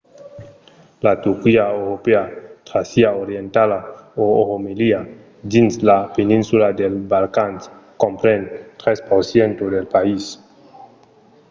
la turquia europèa tràcia orientala o romelia dins la peninsula dels balcans compren 3% del país